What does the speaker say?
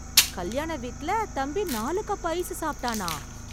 கல்யாண வீட்ல, தம்பி நாலு கப் ஐஸ் சாப்ட்டானா...